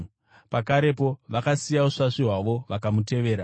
Pakarepo vakasiya usvasvi hwavo vakamutevera.